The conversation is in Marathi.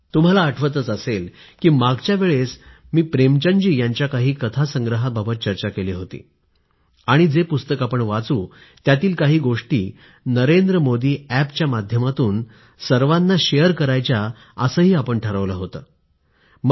तुम्हाला आठवत असेलच की मागच्या वेळेस मी प्रेमचंदजी यांच्या काही गोष्टींच्या पुस्तकावर आपण चर्चा केली होती आणि जे पुस्तक वाचू त्यातील काही गोष्टी नरेंद्र मोदी अॅपच्या माध्यमातून सर्वाना शेअर करायच्या असे आपण ठरवलं होतं